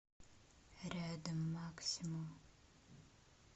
рядом максимум